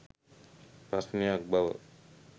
ප්‍රශ්නයක් බව